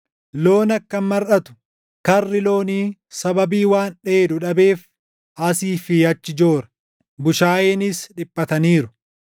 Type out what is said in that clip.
Loon akkam marʼatu! Karri loonii sababii waan dheedu dhabeef asii fi achi joora; bushaayeenis dhiphataniiru.